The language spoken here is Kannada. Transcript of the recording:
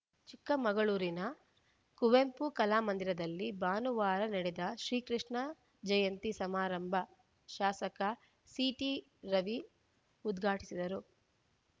ಚಿಕ್ಕಮಗಳೂರಿನ ಕುವೆಂಪು ಕಲಾಮಂದಿರದಲ್ಲಿ ಭಾನುವಾರ ನಡೆದ ಶ್ರೀಕೃಷ್ಣ ಜಯಂತಿ ಸಮಾರಂಭ ಶಾಸಕ ಸಿಟಿ ರವಿ ಉದ್ಘಾಟಿಸಿದರು